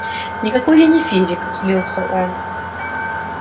никакой я не физик злился он